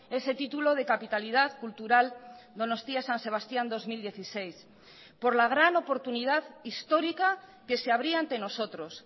ese título de capitalidad cultural donostia san sebastián dos mil dieciséis por la gran oportunidad histórica que se abría ante nosotros